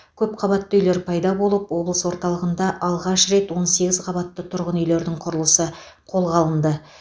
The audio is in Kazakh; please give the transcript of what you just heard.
көпқабатты үйлер пайда болып облыс орталығында алғаш рет он сегіз қабатты тұрғын үйлердің құрылысы қолға алынды